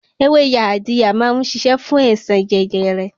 Ewé Yaadiya má ń ṣiṣẹ́ fún àìsàn jẹjẹrẹ.